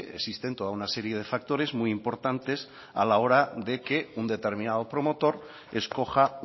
existen toda una serie de factores muy importantes a la hora de que un determinado promotor escoja